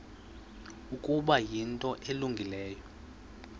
ukuba yinto elungileyo